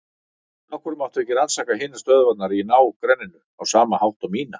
Af hverju mátti ekki rannsaka hinar stöðvarnar í ná- grenninu á sama hátt og mína?